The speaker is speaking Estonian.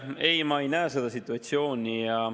Ei, ma ei näe seda situatsiooni.